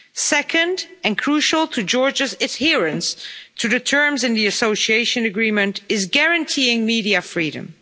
Second, and crucial to Georgia's adherence to the terms in the Association Agreement, is guaranteeing media freedom.